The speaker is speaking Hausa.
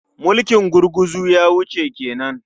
Mulkin gurguzu ya wuce ke nan.